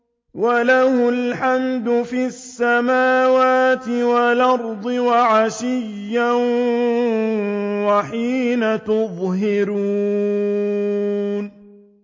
وَلَهُ الْحَمْدُ فِي السَّمَاوَاتِ وَالْأَرْضِ وَعَشِيًّا وَحِينَ تُظْهِرُونَ